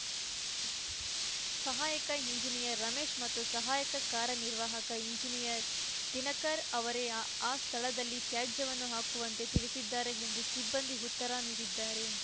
ಸಹಾಯಕ ಇಂಜಿನಿಯರ್‌ ರಮೇಶ್‌ ಮತ್ತು ಸಹಾಯಕ ಕಾರ್ಯನಿರ್ವಾಹಕ ಇಂಜಿನಿಯರ್‌ ದಿನಕರ್‌ ಅವರೇ ಆ ಸ್ಥಳದಲ್ಲಿ ತ್ಯಾಜ್ಯವನ್ನು ಹಾಕುವಂತೆ ತಿಳಿಸಿದ್ದಾರೆ ಎಂದು ಸಿಬ್ಬಂದಿ ಉತ್ತರ ನೀಡಿದ್ದಾರೆ